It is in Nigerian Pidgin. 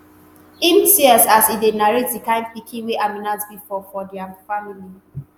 im tears as e narrate di kind pikin wey aminat be for for dia family